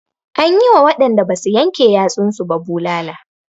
An yi wa waɗanda basu yanke yatsun su ba bulala.